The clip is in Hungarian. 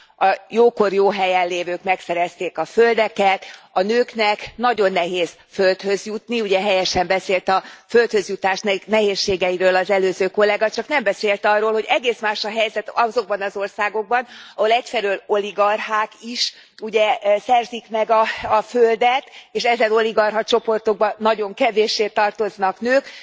a jókor jó helyen lévők megszerezték a földeket, a nőknek nagyon nehéz földhöz jutni, helyesen beszélt a földhöz jutás nehézségeiről az előző kollega, csak nem beszélt arról, hogy egész más a helyzet azokban az országokban, ahol egyfelől oligarchák szerzik meg a földet, és ezen oligarcha csoportokba nagyon kevéssé tartoznak nők.